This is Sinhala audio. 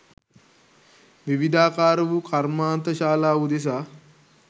විවිධාකාර වූ කර්මාන්තශාලා උදෙසා